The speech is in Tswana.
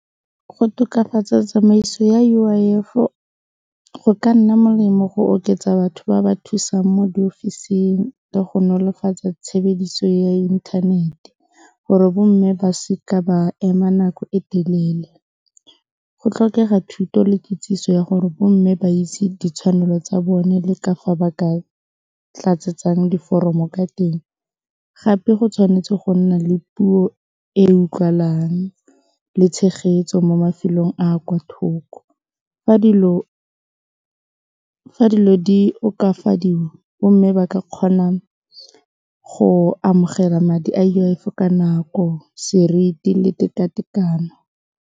Go tokafatsa tsamaiso ya U_I_F-o go ka nna molemo go oketsa batho ba ba thusang mo diofising ka go nolofatsa tshebediso ya inthanete gore bo mme ba seka ba ema nako e telele, go tlhokega thuto le kitsiso ya gore bo mme ba itse ditshwanelo tsa bone le ka fa ba ka tlatsetsang diforomo ka teng gape go tshwanetse go nna le puo e utlwalang le tshegetso mo mafelong a a kwa thoko fa dilo di okafadiwa bo mme ba ka kgona go amogela madi a U_I_F ka nako, seriti le tekatekano.